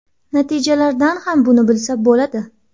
Natijalardan ham buni bilsa bo‘ladi”.